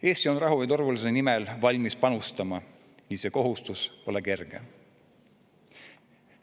Eesti on rahu ja turvalisuse nimel valmis panustama ning see kohustus pole kerge.